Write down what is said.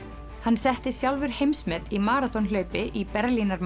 hann setti sjálfur heimsmet í maraþonhlaupi í Berlínar